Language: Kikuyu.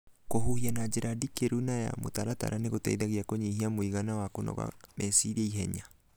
Kũhuhia na njĩra ndikĩru na ya mũtaratara nĩ gũteithagia kũnyihia mũigana wa kũnoga meciria ihenya.